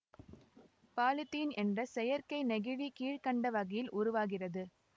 polythene என்ற செயற்கை நெகிழி கீழ் கண்ட வகையில் உருவாகிறது